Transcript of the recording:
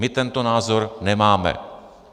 My tento názor nemáme.